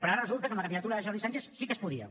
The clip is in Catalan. però ara resulta que amb la candidatura de jordi sànchez sí que es podia